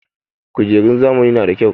Kujerun zamani na da kyau.